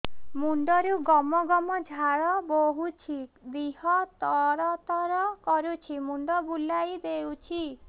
ମୁଣ୍ଡରୁ ଗମ ଗମ ଝାଳ ବହୁଛି ଦିହ ତର ତର କରୁଛି ମୁଣ୍ଡ ବୁଲାଇ ଦେଉଛି